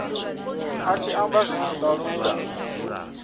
a tshi amba zwithu talula